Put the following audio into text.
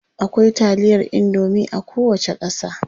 Akwai taliyar indomie a kowace ƙasa.